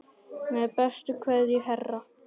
Með bestu kveðju Hera.